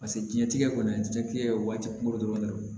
Paseke diɲɛ tigɛ kɔni diɲɛtigɛ ye waati kunko dɔrɔn de ye